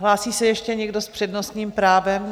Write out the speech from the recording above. Hlásí se ještě někdo s přednostním právem?